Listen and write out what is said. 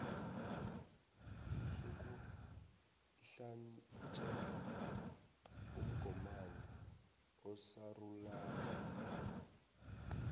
sokuhlatjelwa umgomani osarulana